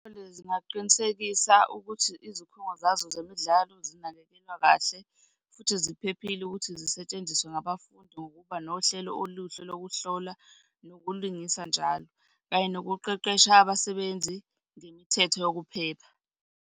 zingaqinisekisa ukuthi izikhungo zazo zemidlalo zinakekelwa kahle, futhi ziphephile ukuthi zisetshenziswe ngabafundi ngokuba nohlelo oluhle lokuhlola nokulungisa njalo, kanye nokuqeqesha abasebenzi ngemithetho yokuphepha.